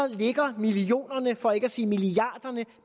ligger millionerne for ikke at sige milliarderne